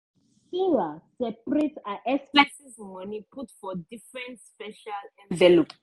sarah seperate her expenses money put for different special envelope.